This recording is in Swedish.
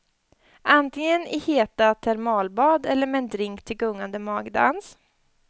Antingen i heta termalbad eller med en drink till gungande magdans.